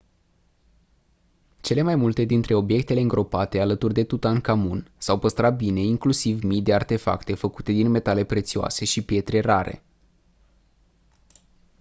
cele mai multe dintre obiectele îngropate alături de tutankhamon s-au păstrat bine inclusiv mii de artefacte făcute din metale prețioase și pietre rare